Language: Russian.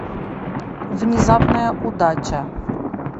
внезапная удача